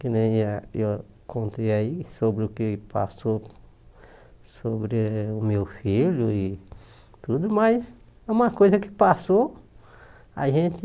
Que nem eh eu contei aí sobre o que passou sobre o meu filho e tudo, mas é uma coisa que passou, a gente...